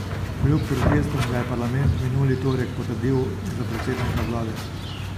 Kljub protestom ga je parlament minuli torek potrdil za predsednika vlade.